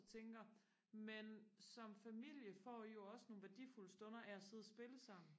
og tænker men som familie får I jo også nogle værdifulde stunder af og sidde og spille sammen